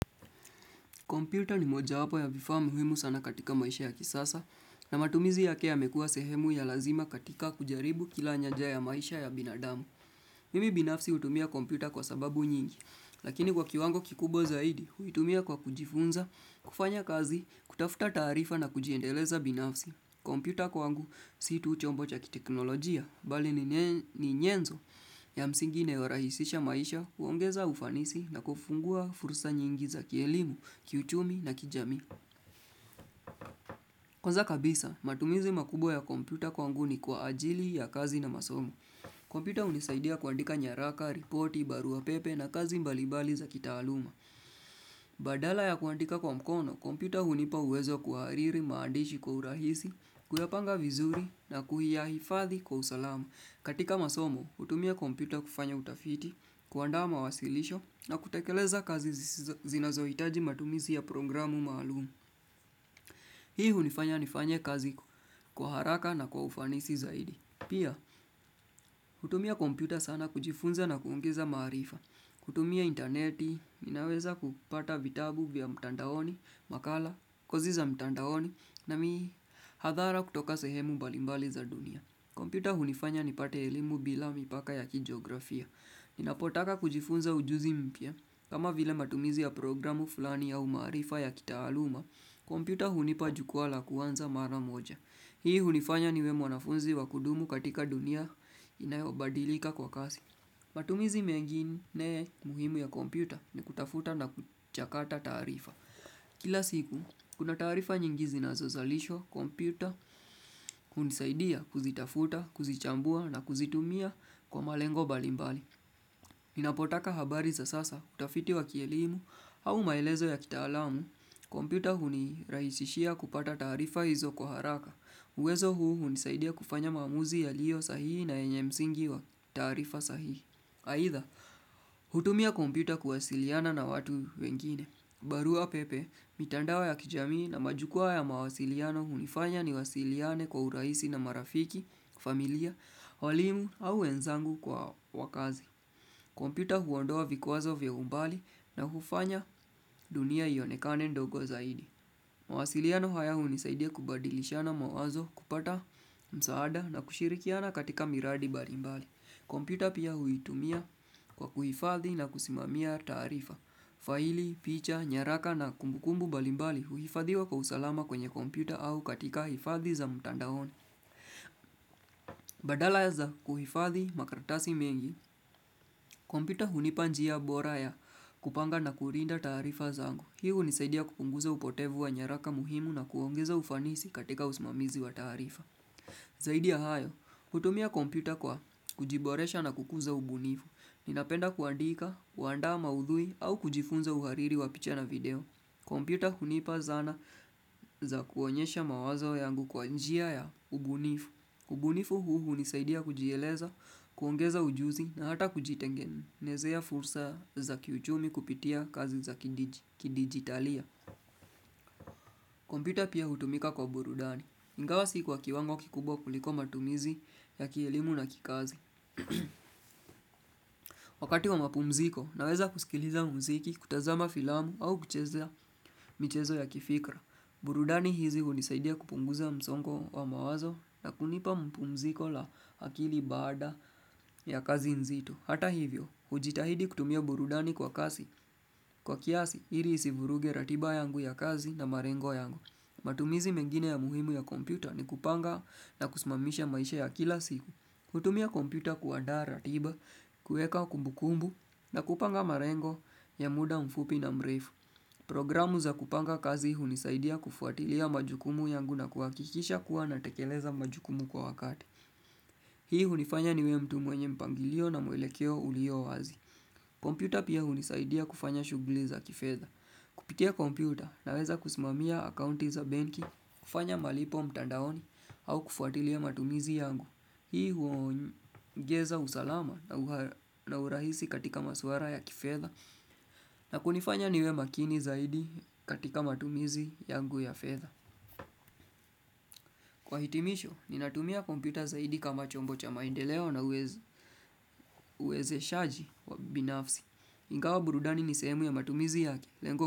Kompyuta ni mojawapo ya vifaa muhimu sana katika maisha ya kisasa, na matumizi yake yamekua sehemu ya lazima katika kujaribu kila nyanja ya maisha ya binadamu. Mimi binafsi hutumia kompyuta kwa sababu nyingi, lakini kwa kiwango kikubwa zaidi, huitumia kwa kujifunza, kufanya kazi, kutafuta taarifa na kujiendeleza binafsi. Kompyuta kwangu, si tu chombo cha kiteknolojia, bali ni nye nyenzo ya msingi inayorahisisha maisha, huongeza ufanisi na kufungua fursa nyingi za kielimu, kiuchumi na kijamii. Kwanza kabisa, matumizi makubwa ya kompyuta kwanguni kwa ajili ya kazi na masomo. Kompyuta hunisaidia kuandika nyaraka, ripoti, barua pepe na kazi mbalimbali za kitaaluma. Badala ya kuandika kwa mkono, kompyuta hunipa uwezo kuhariri, maandishi kwa urahisi, kuyapanga vizuri na kuyahifadhi kwa usalamu. Katika masomo, hutumia kompyuta kufanya utafiti, kuandaa mawasilisho na kutekeleza kazi zisizo zinazoitaji matumizi ya programu maalumu. Hii hunifanya nifanye kazi kwa haraka na kwa ufanisi zaidi. Pia, hutumia kompyuta sana kujifunza na kuongeza maarifa. Kutumia interneti, ninaweza kupata vitabu vya mtandaoni, makala, koziza mtandaoni, na mii hadhara kutoka sehemu mbalimbali za dunia. Kompyuta hunifanya nipate elimu bila mipaka ya kijografia. Ninapotaka kujifunza ujuzi mpya. Kama vile matumizi ya programu fulani ya umaarifa ya kitaaluma, kompyuta hunipa jukwa la kuanza mara moja. Hii hunifanya niwe mwanafunzi wa kudumu katika dunia inayobadilika kwa kasi. Matumizi mengine muhimu ya kompyuta ni kutafuta na kuchakata taarifa. Kila siku, kuna taarifa nyingi zina zozalisho, kompyuta, unisaidia kuzitafuta, kuzichambua na kuzitumia kwa malengo balimbali. Inapotaka habari za sasa, utafiti wa kielimu, au maelezo ya kitaalamu, kompyuta huni rahisishia kupata taarifa hizo kwa haraka. Uwezo huu hunisaidia kufanya maamuzi ya liyo sahihi na enye msingi wa taarifa sahihi. Aidha, hutumia kompyuta kuwasiliana na watu wengine. Barua pepe, mitandao ya kijamii na majukwa ya mawasiliano hunifanya ni wasiliane kwa urahisi na marafiki, familia, walimu au wenzangu kwa wakazi. Kompyuta huondoa vikwazo vya umbali na hufanya dunia ionekane ndogo zaidi. Mawasiliano haya hunisaidia kubadilishana mawazo kupata msaada na kushirikiana katika miradi barimbali. Kompyuta pia huitumia kwa kuhifadhi na kusimamia taarifa. Faili, picha, nyaraka na kumbukumbu mbalimbali huifadhiwa kwa usalama kwenye kompyuta au katika hifadhi za mtandaoni Badala za kuhifadhi makaratasi mengi, kompyuta hunipanjia bora ya kupanga na kurinda taarifa zangu. Hii hunisaidia kupunguza upotevu wa nyaraka muhimu na kuongeza ufanisi katika usimamizi wa taarifa. Zaidi ya hayo, hutumia kompyuta kwa kujiboresha na kukuza ubunifu Ninapenda kuandika, kuandaa madhui au kujifunza uhariri wa picha na video kompyuta hunipa zana za kuonyesha mawazo yangu kwa njia ya ubunifu ubunifu huu hunisaidia kujieleza, kuongeza ujuzi na hata kujitengenezea fursa za kiuchumi kupitia kazi za kidigi kidigitalia kompyuta pia hutumika kwa burudani Ingawa si kwa kiwango kikubwa kuliko matumizi ya kielimu na kikazi. Wakati wa mapumziko, naweza kusikiliza mziki, kutazama filamu au kuchezea michezo ya kifikra. Burudani hizi hunisaidia kupunguza msongo wa mawazo na kunipa mpumziko la akili baada ya kazi nzito. Hata hivyo, hujitahidi kutumia burudani kwa kasi. Kwa kiasi, iri isivuruge ratiba yangu ya kazi na marengo yangu. Matumizi mengine ya muhimu ya kompyuta ni kupanga na kusmamisha maisha ya kila siku hutumia kompyuta kuandaa ratiba, kueka kumbukumbu na kupanga marengo ya muda mfupi na mrefu Programu za kupanga kazi hunisaidia kufuatilia majukumu yangu na kuakikisha kuwa na tekeleza majukumu kwa wakati Hii hunifanya niwe mtu mwenye mpangilio na mwelekeo ulio wazi kompyuta pia hunisaidia kufanya shughuli za kifedha Kupitia kompyuta naweza kusimamia akaunti za benki, kufanya malipo mtandaoni au kufuatilia matumizi yangu. Hii huongeza usalama na urahisi katika maswara ya kifedha na kunifanya niwe makini zaidi katika matumizi yangu ya fedha. Kwa hitimisho, ninatumia kompyuta zaidi kama chombo cha maendeleo na uwez uwezeshaji wa binafsi. Ingawa burudani ni sehemu ya matumizi yake. Lengo.